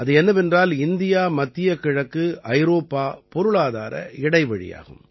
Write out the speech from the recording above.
அது என்னவென்றால் இந்தியாமத்திய கிழக்குஐரோப்பா பொருளாதார இடைவழியாகும்